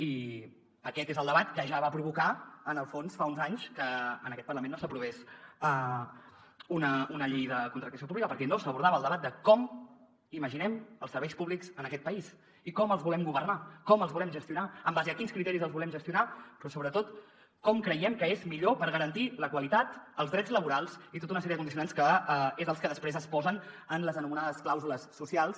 i aquest és el debat que ja va provocar en el fons fa uns anys que en aquest parlament no s’aprovés una llei de contractació pública perquè no s’abordava el debat de com imaginem els serveis públics en aquest país i com els volem governar com els volem gestionar en base a quins criteris els volem gestionar però sobretot com creiem que és millor per garantir la qualitat els drets laborals i tota una sèrie de condicionants que són els que després es posen en les anomenades clàusules socials